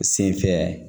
Sen fɛ